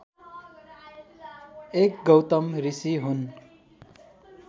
एक गौतम ऋषि हुन्